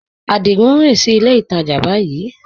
Adigun n rìn sí ilẹ̀ ìtajá báyìí